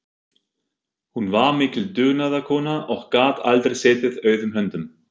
Hún var mikil dugnaðarkona og gat aldrei setið auðum höndum.